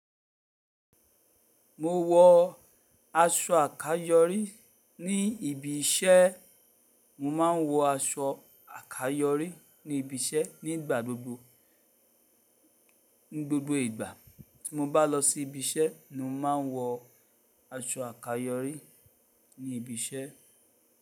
Mo wọ aṣọ àkayòrí ní ibi iṣẹ́, mo máa ń wọ aṣọ àkayòrí ní ibi iṣẹ́ nígbà gbogbo. Ní gbogbo ìgbà tí mo bá lọ sí ibi iṣẹ́ ni mo máa ń wọ aṣọ àkayòrí ní ibi iṣẹ́.